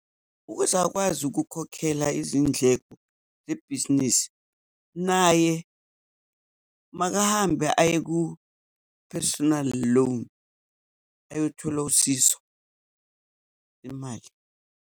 Ukuze akwazi ukukhokhela izindleko zebhizinisi, naye makahambe aye ku-personal loan ayothola usizo lemali.